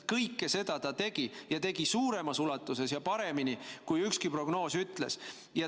Kõike seda see tegi ja tegi suuremas ulatuses ja paremini, kui ükski prognoos ütles.